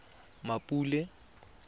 mmapule